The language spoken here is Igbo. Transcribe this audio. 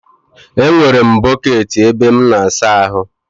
E, nwere m bọkeeti ebe m n'asa ahụ.